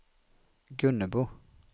Gunnebo